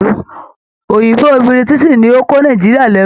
Òyìnbó Biritiisi ni o ko Nàìjíríà l'ẹru.